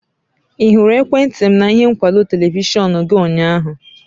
Ị hụrụ ekwentị m na ihe nkwụdo televishọn gị ụnyaahụ?